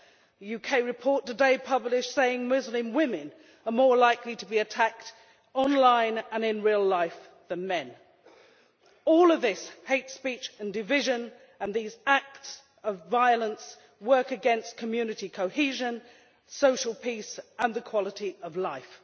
A UK report published today says that Muslim women are more likely to be attacked, online and in real life, than men, All of this hate speech and division and these acts of violence work against community cohesion, social peace and the quality of life.